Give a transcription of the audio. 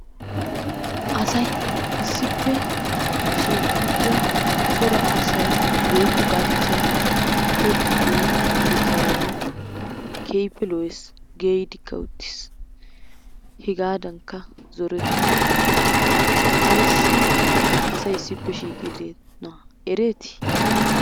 Asay issippe shiqidda corraa asay woyikkogalchaay tobiyoo guttaraay kehippe la'ees, kehippe geyidikkaa uttiis. hegadannika zoretosonna aysi asay issippe shhiqidonna eretti?